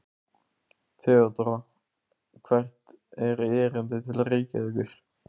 THEODÓRA: Hvert er erindið til Reykjavíkur?